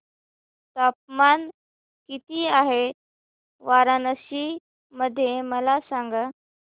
तापमान किती आहे वाराणसी मध्ये मला सांगा